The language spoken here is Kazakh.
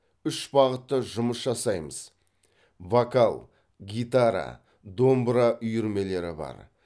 үш бағытта жұмыс жасаймыз вокал гитара домбыра үйірмелері бар